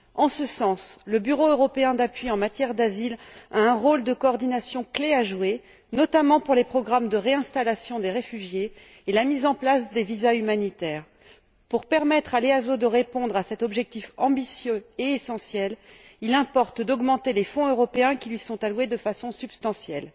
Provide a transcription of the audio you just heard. En ce sens, le bureau européen d'appui en matière d'asile a un rôle clé de coordination à jouer, notamment pour les programmes de réinstallation des réfugiés et la mise en place des visas humanitaires. Pour permettre à l'EASO de répondre à cet objectif ambitieux et essentiel, il importe d'augmenter de façon substantielle